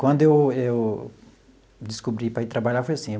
Quando eu eu descobri para ir trabalhar, foi assim.